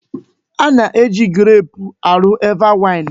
Ana-eji greepụ arụ Eva waịn.